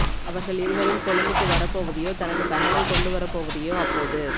அவர்கள் இருவரும் கொழும்புக்கு வரப்போவதையோ தனக்குத் தகவல் கொண்டு வரப்போவதையோ அப்போது